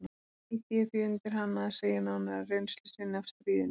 Ýtti ég því undir hana að segja nánar af reynslu sinni af stríðinu.